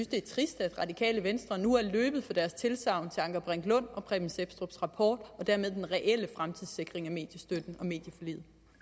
det er trist at det radikale venstre nu er løbet fra deres tilsagn til anker brink lund og preben sepstrups rapport og dermed den reelle fremtidssikring af mediestøtten